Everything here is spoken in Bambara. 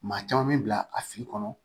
Maa caman bɛ bila a fili kɔnɔ